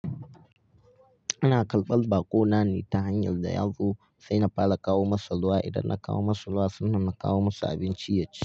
Ina karbar bakonane ta hanyar da ya zo sai na fara kawo masa ruwa. Idan na kawo masa ruwa sannan na kawo masa abinci ya ci.